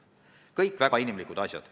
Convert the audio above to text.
Kõik väga inimlikud põhjused.